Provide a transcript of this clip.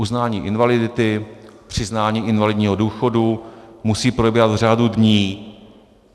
Uznání invalidity, přiznání invalidního důchodu, musí probíhat v řádu dní.